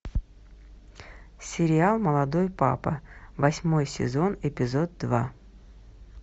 сериал молодой папа восьмой сезон эпизод два